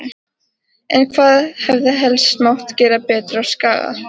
En hvað hefði helst mátt gera betur á Skaga?